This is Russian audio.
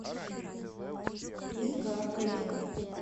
игаркой